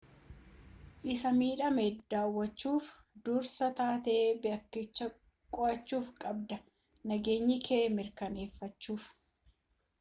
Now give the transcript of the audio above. isa midhame daawwachuuf dursaa taatee bakkichaa qorachuu qabda nageenyakee mirkaaneeffachuuf